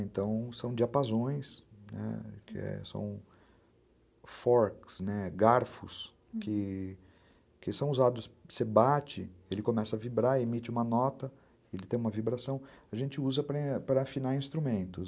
Então, são diapasões, né, que são forks, né, garfos, que são usados, você bate, ele começa a vibrar, emite uma nota, ele tem uma vibração, a gente usa para para afinar instrumentos.